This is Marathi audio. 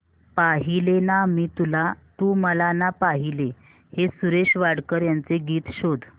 पाहिले ना मी तुला तू मला ना पाहिले हे सुरेश वाडकर यांचे गीत शोध